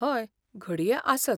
हय, घडये आसत.